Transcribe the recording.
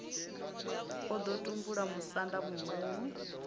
o ḓo tumbula musanda muhulu